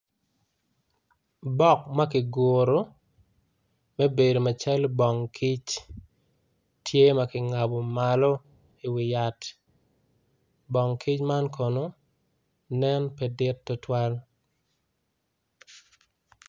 Bok makiguru me bedo macalo bong kic tye makingabo malo i wi yat bong kic man kono nen pe dit tutwal.